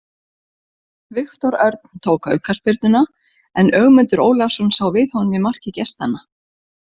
Viktor Örn tók aukaspyrnuna en Ögmundur Ólafsson sá við honum í marki gestanna.